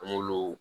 An m'olu